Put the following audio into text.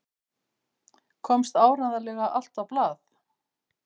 Komst áreiðanlega allt á blað?